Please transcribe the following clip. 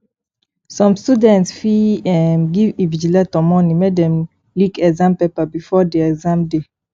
some student fit um give invigilator money make dem leak exam paper before di exam day